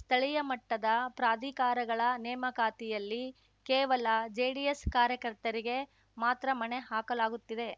ಸ್ಥಳೀಯ ಮಟ್ಟದ ಪ್ರಾಧಿಕಾರಗಳ ನೇಮಕಾತಿಯಲ್ಲಿ ಕೇವಲ ಜೆಡಿಎಸ್‌ ಕಾರ್ಯಕರ್ತರಿಗೆ ಮಾತ್ರ ಮಣೆ ಹಾಕಲಾಗುತ್ತಿದೆ